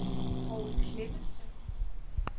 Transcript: Poul Clemmensen